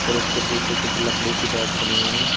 और उसके पूछे कुछ लकड़ी की रैक बनी हुई है।